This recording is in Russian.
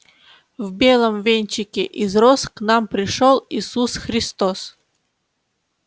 в белом венчике из роз к нам пришёл иисус христос